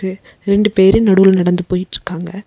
ரெண்டு பேரு நடுவுல நடந்து போய்ட்ருக்காங்க.